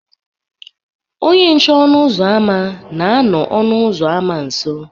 Onye nche ọnụ ụzọ ámá na-anọ ọnụ ụzọ ámá nso